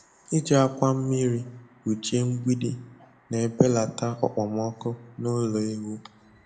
Iji akwa mmiri kpuchie mgbidi na-ebelata okpomọkụ n'ụlọ ewu.